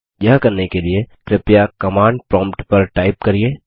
यह करने के लिए कृपया कमांड प्रॉम्प्ट पर टाइप करिये